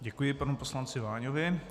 Děkuji panu poslanci Váňovi.